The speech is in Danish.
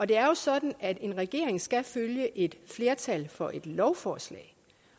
det er sådan at en regering skal følge et flertal for et lovforslag